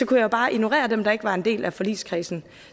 kunne jeg bare ignorere dem der ikke var en del af forligskredsen